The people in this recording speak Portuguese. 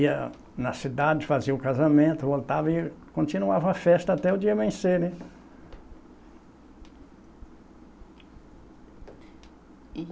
Ia na cidade, fazia o casamento, voltava e continuava a festa até o dia amanhecer, né?